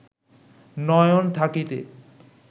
নয়ন থাকিতে